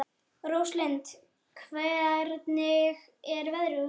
Róslind, hvernig er veðrið úti?